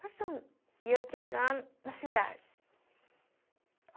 Passamos, ia entregando nas cidades.